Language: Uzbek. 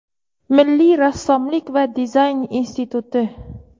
Milliy rassomlik va dizayn instituti;.